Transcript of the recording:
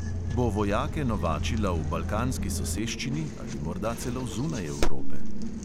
Bo vojake novačila v balkanski soseščini ali morda celo zunaj evrope?